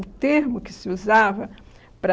O termo que se usava para...